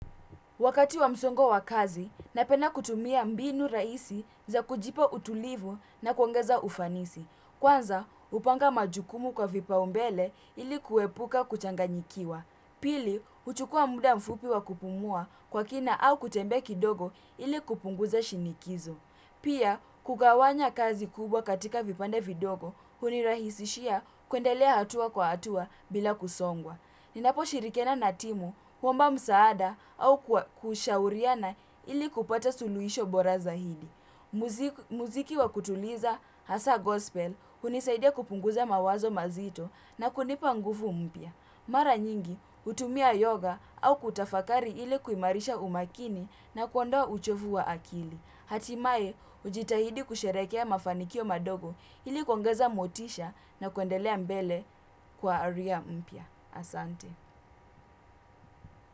Wakati wa msongo wa kazi, napenda kutumia mbinu rahisi za kujipa utulivu na kuongeza ufanisi. Kwanza, hupanga majukumu kwa vipaumbele ili kuepuka kuchanganyikiwa. Pili, huchukua muda mfupi wa kupumua kwa kina au kutembea kidogo ili kupunguza shinikizo. Pia, kugawanya kazi kubwa katika vipande vidogo, hunirahisishia kuendelea hatua kwa hatua bila kusongwa. Ninaposhirikiana na timu, kuomba msaada au kushauriana ili kupata suluhisho bora zaidi muziki wa kutuliza, hasa gospel, hunisaidia kupunguza mawazo mazito na kunipa nguvu mpya. Mara nyingi, hutumia yoga au kutafakari ili kuimarisha umakini na kuondoa uchovu wa akili. Hatimae, hujitahidi kusherehekea mafanikio madogo ili kuongeza motisha na kuendelea mbele kwa ari mpya. Asante.